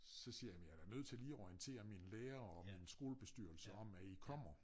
Så siger jeg jamen jeg er da nødt til lige at orientere mine lærere og min skolebestyrelse om at i kommer